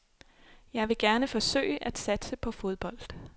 Jeg vil gerne forsøge at satse på fodbold.